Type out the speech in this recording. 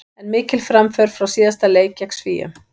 En mikil framför frá síðasta leik gegn Svíum.